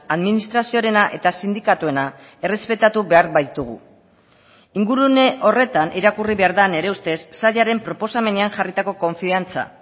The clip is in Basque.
administrazioarena eta sindikatuena errespetatu behar baitugu ingurune horretan irakurri behar da nire ustez sailaren proposamenean jarritako konfiantza